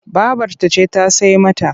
Babarta ce ta sai mata.